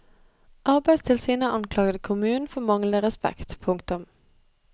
Arbeidstilsynet anklaget kommunen for manglende respekt. punktum